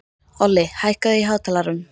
Olli, hækkaðu í hátalaranum.